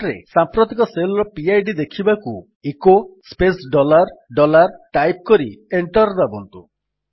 prompt ରେ ସାମ୍ପ୍ରତିକ shell ର ପିଡ୍ ଦେଖିବାକୁ echo space dollar dollar type କରି ଏଣ୍ଟର୍ ଦାବନ୍ତୁ